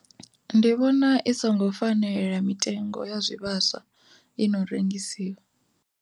Ndi vhona i songo fanela mitengo ya zwivhaswa i no rengisiwa.